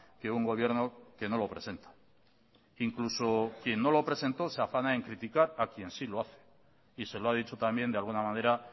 que un gobierno que no lo presenta incluso quien no lo presentó se afana en criticar a quien sí lo hace y se lo ha dicho también de alguna manera